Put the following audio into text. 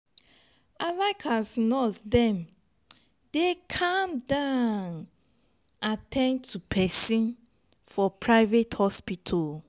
i like as nurse dem dey calm down at ten d to pesin for private hospital.